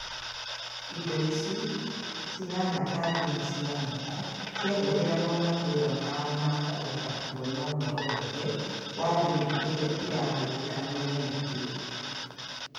Indo icio, cihana ta thimũ cia moko, ciahũthĩragwo matũra mao na kũhota kũona ũhoro wothe wa thimũ iria irahũthika mĩena ĩyo